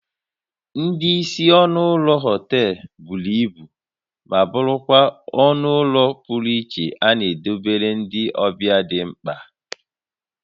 Ndị isi ọnụ ụlọ họtel buru ibu ma bụrụkwa ọnụ ụlọ pụrụ iche a na edobere ndị ọbịa dị mkpa